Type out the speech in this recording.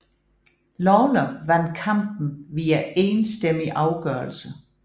Lawler vandt kampen via enstemmig afgørelse